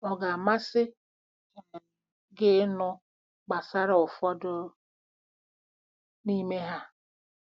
Ọ ga-amasị um gị ịnụ gbasara ụfọdụ n'ime ha?